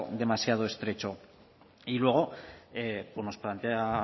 demasiado estrecho y luego pues nos plantea